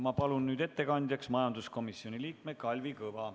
Ma palun nüüd ettekandjaks majanduskomisjoni liikme Kalvi Kõva.